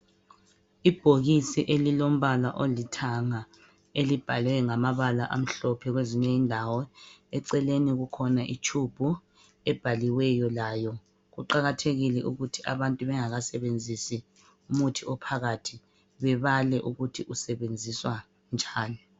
Ibhokisi elilombala olithanga elibhalwe ngamabala amhlophe kwezinye indawo, eceleni kukhona itshubhu ebhaliweyo layo. Kuqakathekile ukuthi abantu bengakasebenzisi umuthi ophakathi bebale ukuthi usebenziswa njani